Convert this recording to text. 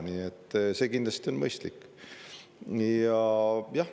Nii et see on kindlasti mõistlik.